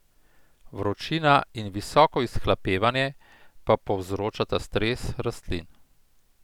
Vročina in visoko izhlapevanje pa povzročata stres rastlin.